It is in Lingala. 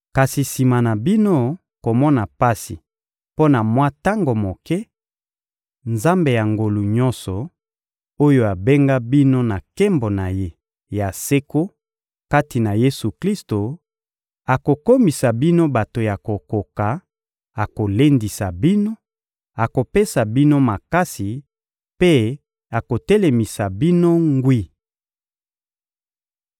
Kasi sima na bino komona pasi mpo na mwa tango moke, Nzambe ya ngolu nyonso, oyo abenga bino na nkembo na Ye ya seko kati na Yesu-Klisto, akokomisa bino bato ya kokoka, akolendisa bino, akopesa bino makasi mpe akotelemisa bino ngwi.